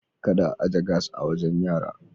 Kada a aje gas a wajen yara.